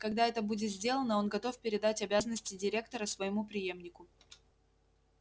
когда это будет сделано он готов передать обязанности директора своему преемнику